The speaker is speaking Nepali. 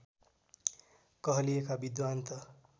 कहलिएका विद्वान् त